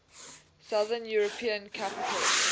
southern european capitals